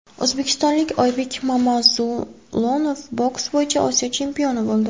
O‘zbekistonlik Oybek Mamazulunov boks bo‘yicha Osiyo chempioni bo‘ldi.